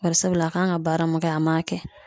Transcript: Bari sabula a kan ka baara mun kɛ an m'a kɛ